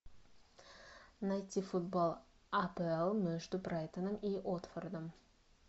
найти футбол апл между брайтоном и уотфордом